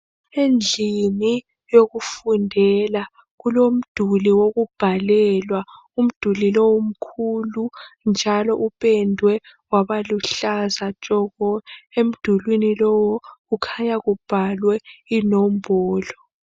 Endlini yokufundela kulomduli wokubhalelwa umduli lowu umkhulu. Njalo upendwe wabuluhlaza tshoko, njalo emdulini lowu kukhanya kubhalwe inombolo.